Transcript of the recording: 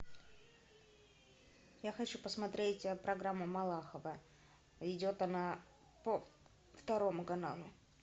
я хочу посмотреть программу малахова идет она по второму каналу